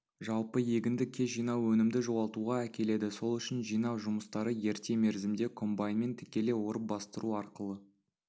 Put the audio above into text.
жалпы егінді кеш жинау өнімді жоғалтуға әкеледі сол үшін жинау жұмыстары ерте мерзімде комбайнмен тікелей орып бастыру арқылы